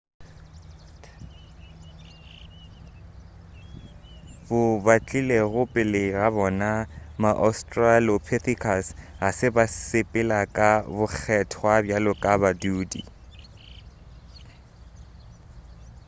bo batlilego pele ga bona ma-australopithecus ga se ba sepela ka bokgethwa bjalo ka badudi